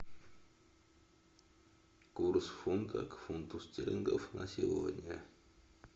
курс фунта к фунту стерлингов на сегодня